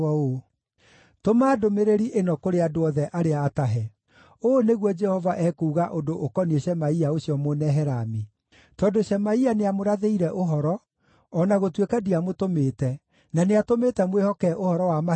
“Tũma ndũmĩrĩri ĩno kũrĩ andũ othe arĩa atahe: ‘Ũũ nĩguo Jehova ekuuga ũndũ ũkoniĩ Shemaia ũcio Mũnehelami: Tondũ Shemaia nĩamũrathĩire ũhoro, o na gũtuĩka ndiamũtũmĩte, na nĩatũmĩte mwĩhoke ũhoro wa maheeni-rĩ,